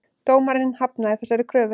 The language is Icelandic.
Dómari hafnaði þessari kröfu